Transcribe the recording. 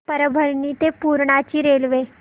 परभणी ते पूर्णा ची रेल्वे